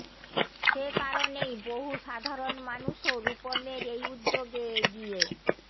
সে কারণেই বহু সাধারণ মানুষও রূপমের এই উদ্যোগে এগিয়ে